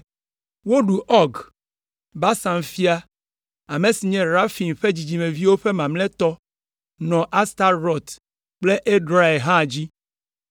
Woɖu Ɔg, Basan fia, ame si nye Refaim ƒe dzidzimeviwo ƒe mamlɛtɔ nɔ Astarot kple Edrei hã dzi.